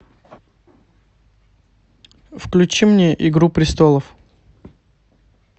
включи мне игру престолов